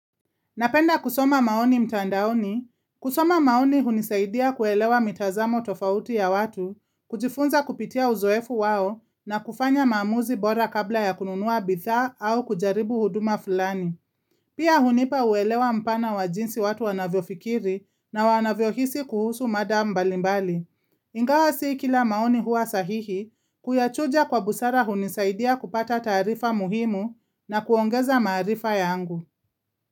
Napenda kusoma maoni mtandaoni, kusoma maoni hunisaidia kuelewa mitazamo tofauti ya watu, kujifunza kupitia uzoefu wao na kufanya maamuzi bora kabla ya kununua bidhaa au kujaribu huduma fulani. Pia hunipa uelewa mpana wa jinsi watu wanavyofikiri na wanavyohisi kuhusu mada mbalimbali. Ingawa sio kila maoni hua sahihi, kuyachuja kwa busara hunisaidia kupata taarifa muhimu na kuongeza maarifa yangu.